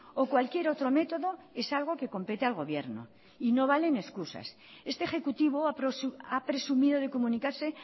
o cualquier otro método es algo que compete al gobierno y no valen excusas este ejecutivo ha presumido de comunicarse